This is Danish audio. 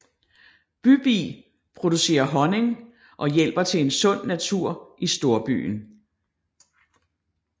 Bybi producerer honning og hjælper til en sund natur i storbyen